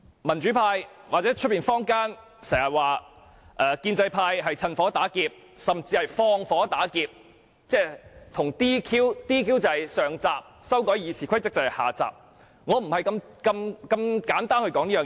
民主派或坊間經常指建制派"趁火打劫"，甚至"放火打劫"，而 "DQ" 是上集，修改《議事規則》則是下集，但我不會如此簡單地論述這一點。